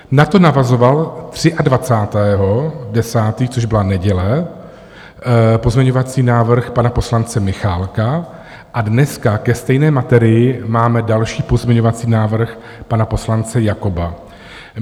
Na to navazoval 23. 10., což byla neděle, pozměňovací návrh pana poslance Michálka a dneska ke stejné materii máme další pozměňovací návrh pana poslance Jakoba.